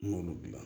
N y'olu gilan